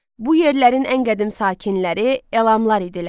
Bu yerlərin ən qədim sakinləri elamlar idilər.